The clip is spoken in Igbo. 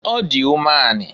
Ọ dị umeanị.